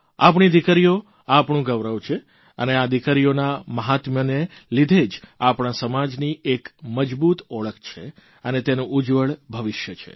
આપણી દિકરીઓ આપણું ગૌરવ છે અને આ દિરરીઓના મહાત્મયને લીધે જ આપણા સમાજની એક મજબૂત ઓળખ છે અને તેનું ઉજ્જવળ ભવિષ્ય છે